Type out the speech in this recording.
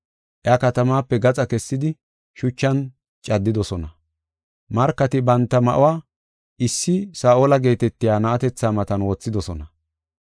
Iya katamaape gaxa kessidi, shuchan caddidosona. Markati banta ma7uwa issi Saa7ola geetetiya na7atetha matan wothidosona.